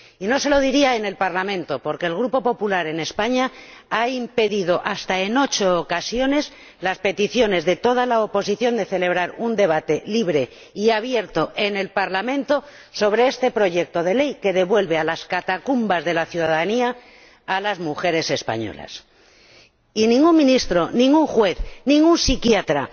Y no se lo diría en el Parlamento, porque el Grupo Popular en España ha impedido, hasta en ocho ocasiones, las peticiones de toda la oposición de celebrar un debate libre y abierto en el Parlamento sobre este proyecto de ley, que devuelve a las catacumbas de la ciudadanía a las mujeres españolas. Y ningún ministro, ningún juez, ningún psiquiatra